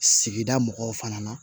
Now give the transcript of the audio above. Sigida mɔgɔw fana